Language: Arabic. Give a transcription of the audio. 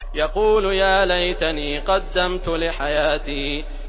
يَقُولُ يَا لَيْتَنِي قَدَّمْتُ لِحَيَاتِي